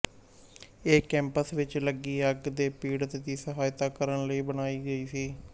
ਇਹ ਕੈਂਪਸ ਵਿੱਚ ਲੱਗੀ ਅੱਗ ਦੇ ਪੀੜਤਾਂ ਦੀ ਸਹਾਇਤਾ ਕਰਨ ਲਈ ਬਣਾਈ ਗਈ ਸੀ